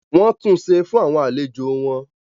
wọ́n tunṣe fún àwọn àlejò wọn.